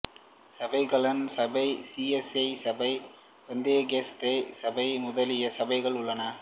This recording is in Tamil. சபை கானான் சபை சி எஸ் ஐ சபை பெந்தயகோஸ்தே சபை முதலிய சபைகள் உள்ளன